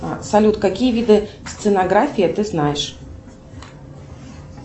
салют какие виды стенографии ты знаешь